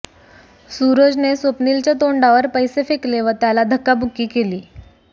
सूरजने स्वप्नीलच्या तोंडावर पैसे फेकले व त्याला धक्काबुक्की केली